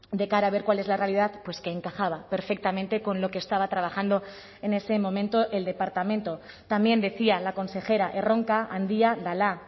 de cara a ver cuál es la realidad pues que encajaba perfectamente con lo que estaba trabajando en ese momento el departamento también decía la consejera erronka handia dela